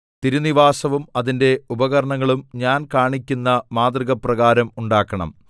തിരുനിവാസവും അതിന്റെ ഉപകരണങ്ങളും ഞാൻ കാണിക്കുന്ന മാതൃകപ്രകാരം ഉണ്ടാക്കണം